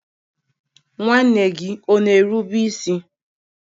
nwanne gị ọ na-erube isi?